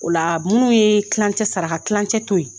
O la minnu ye tilancɛ saraka tilancɛ to ye